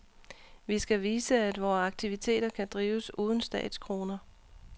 Vi skal vise, at vore aktiviteter kan drives uden statskroner.